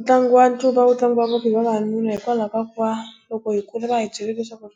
Ntlangu wa ncuva wu tlangiwa ngopfu hi vavanuna hikwalaho ka ku va loko hi kula va hi byele leswaku